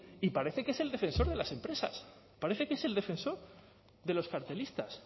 y parece que es el defensor de las empresas parece que es el defensor de los cartelistas